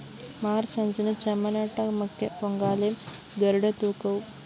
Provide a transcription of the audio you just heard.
March അഞ്ചിന് ചമ്മനാട്ടമ്മയ്ക്ക് പൊങ്കാലയും ഗരുഡന്‍തൂക്കവും